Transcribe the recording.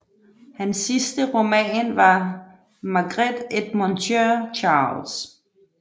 Hans sidste roman var Maigret et Monsieur Charles